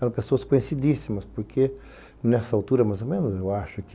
Eram pessoas conhecidíssimas, porque nessa altura, mais ou menos, eu acho que